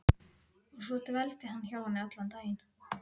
Og svo dveldi hann hjá henni allan daginn.